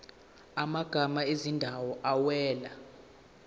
amagama ezindawo awela